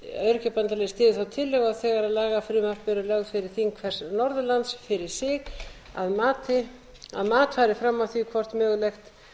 öryrkjabandalagið styður þá tillögu að þegar lagafrumvörp eru lögð fyrir þing hvers norðurlands fyrir sig að mat fari fram á því hvort möguleg landamærahindrun geti skapast